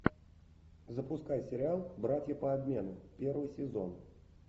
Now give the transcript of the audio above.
запускай сериал братья по обмену первый сезон